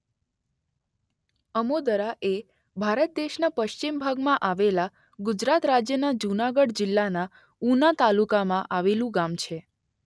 અમોદરા એ ભારત દેશના પશ્ચિમ ભાગમાં આવેલા ગુજરાત રાજ્યના જૂનાગઢ જિલ્લાના ઉના તાલુકામાં આવેલું ગામ છે.